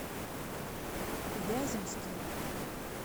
вяземским